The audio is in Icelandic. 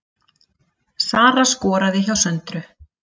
Sara skoraði hjá Söndru